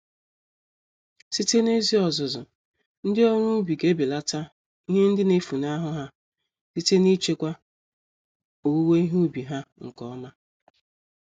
Site n'ezi ọzụzụ, ndị ọrụ ubi g'ebelata ihe ndị nefunahụ ha, site nichekwa owuwe ihe ubi ha nke ọma.